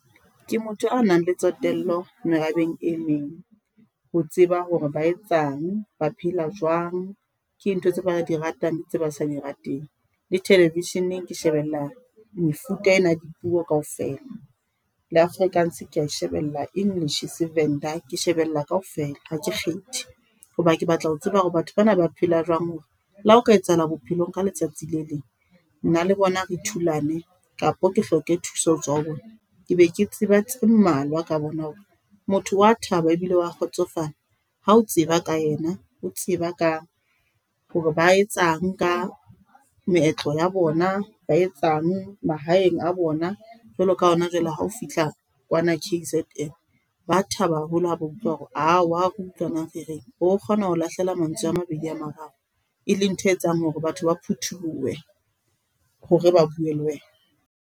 Ke motho a nang le tsotello merabeng e meng. Ho tseba hore ba etsang ba phela jwang, ke eng ntho tse ba di ratang tse ba sa di rateng le television-eng ke shebella mefuta ena ya dipuo kaofela le Afrikaans keya e shebella English, seVenda ke shebella kaofela ha ke kgethe. Hoba ke batla ho tseba hore batho bana ba phela jwang hore la hao ka etsahala bophelong ka letsatsi le leng, nna le bona re thulane kapo ke hloke thuso hotswa ho bona, ke be ke tseba tse mmalwa ka bona hore motho wa thaba ebile wa kgotsofala ha o tseba ka yena o tseba ka hore ba etsang ka meetlo ya bona, ba etsang mahaeng a bona. Jwalo ka ha hona jwale ha o fihla kwana K_Z_N ba thaba haholo ha ba utlwa hore o wa re utlwa na re reng o bo kgona ho lahlela mantswe a mabedi a mararo, e leng ntho e etsang hore batho ba phuthulohe hore ba bue le wena.